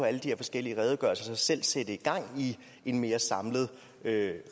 alle de her forskellige redegørelser selv sætte gang i en mere samlet